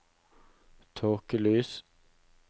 tåkelys